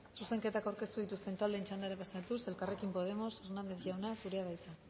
zuzenketak aurkeztu dituzten taldeen txandara pasatuz elkarrekin podemos hernández jauna zurea da hitza